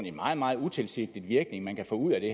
en meget meget utilsigtet virkning man kan få ud af det